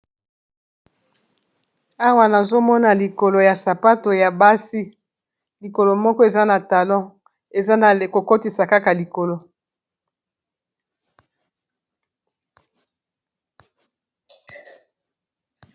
awa nazomona likolo ya sapato ya basi likolo moko eza na talon eza na kokotisa kaka likolo